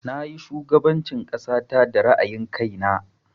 Na yi shugaban cin ƙasata da ra'ayin kai na